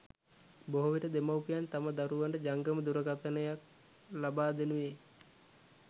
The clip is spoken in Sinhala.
බොහෝ විට දෙමව්පියන් තම දරුවන්ට ජංගම දුරකථනයක් ලබා දෙනුයේ